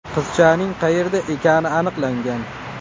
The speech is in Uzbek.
Qizchaning qayerda ekani aniqlangan.